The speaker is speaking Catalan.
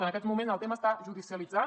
en aquest moment el tema està judicialitzat